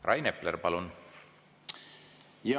Rain Epler, palun!